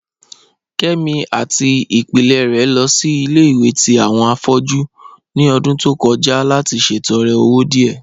Kẹmi àti ìpílẹ̀ rẹ̀ lọ sí ilẹ̀-ìwẹ̀ tì awọn afọ̀jú ní ọ̀dún tó kọja láti ṣètọ̀rẹ̀ ọwọ̀ díẹ.